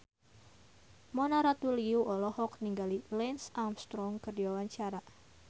Mona Ratuliu olohok ningali Lance Armstrong keur diwawancara